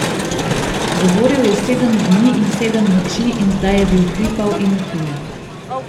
Govoril je sedem dni in sedem noči in zdaj je bil hripav in utrujen.